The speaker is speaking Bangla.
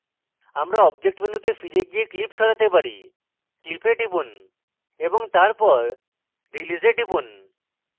আমরা object মেনুতে ফিরে গিয়ে clip সরাতে পারি clip we টিপুন এবং তারপর release we click করুন